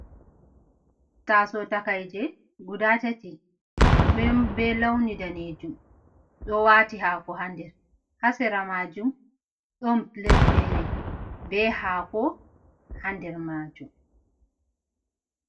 Taaso takayje guda tati, be lawni daneejum, ɗo waati haako haa nder, haa sera maajum ɗon pilet feere be haako haa nder maajum.